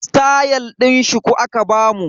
Stayal din shuku aka bamu.